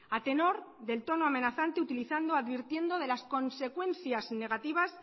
a tenor del tono amenazante utilizado advirtiendo de las consecuencias negativas